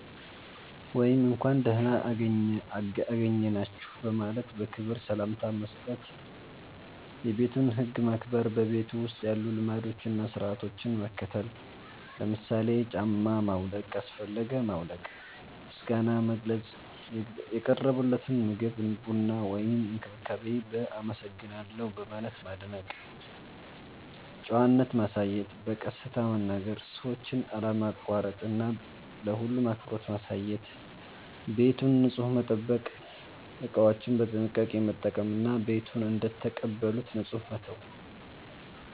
ወይም “እንኳን ደህና አገኘናችሁ” በማለት በክብር ሰላምታ መስጠት። የቤቱን ህግ ማክበር – በቤቱ ውስጥ ያሉ ልማዶችን እና ሥርዓቶችን መከተል። ለምሳሌ ጫማ ማውለቅ ካስፈለገ ማውለቅ። ምስጋና መግለጽ – የቀረበልዎትን ምግብ፣ ቡና ወይም እንክብካቤ በ“አመሰግናለሁ” በማለት ማድነቅ። ጨዋነት ማሳየት – በቀስታ መናገር፣ ሰዎችን አለማቋረጥ እና ለሁሉም አክብሮት ማሳየት። ቤቱን ንጹህ መጠበቅ – እቃዎችን በጥንቃቄ መጠቀም እና ቤቱን እንደተቀበሉት ንጹህ መተው።